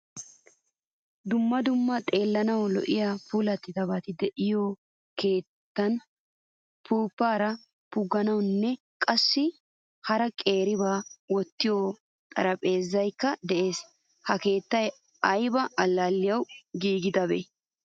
Dumma dumma xeellanawu lo'iyaa puulattidabate deiyyo keettan puppupa puggogenne qaasi hara qeeriba wottiyo xaraphphezzaykka de'ees. Ha keettay ayba allaliyawu giigidabe?